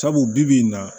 Sabu bi bi in na